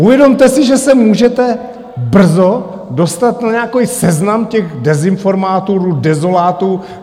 Uvědomte si, že se můžete brzo dostat na nějaký seznam těch dezinformátorů, dezolátů.